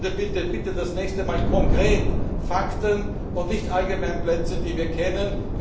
Meine abschließende Bitte ist Bitte das nächste Mal konkret, Fakten und nicht Allgemeinplätze, die wir kennen.